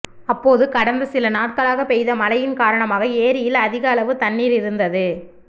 அப்போது கடந்த சில நாட்களாக பெய்த மழையின் காரணமாக ஏரியில் அதிகளவு தண்ணீர் இருந்தது